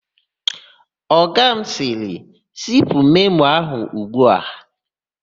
Ọga m sịrị, "zipu memo a ugbua"!